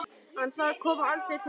En það kom aldrei til greina.